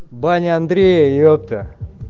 баня андрея епта